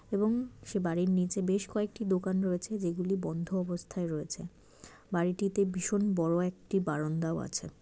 এবং সে বাড়ির নিচে বেশ কয়েকটি দোকান রয়েছে যেগুলি বন্ধ অবস্থায় রয়েছে। বাড়িটিতে ভীষণ বড় একটি বারান্দাও আছে।